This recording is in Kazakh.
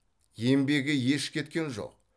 еңбегі еш кеткен жоқ